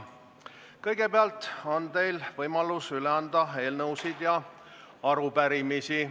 Kõigepealt on teil võimalus üle anda eelnõusid ja arupärimisi.